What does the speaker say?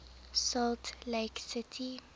salt lake city